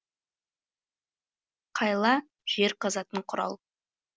қайла жер қазатын құрал